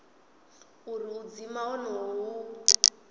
uri u dzima honoho hu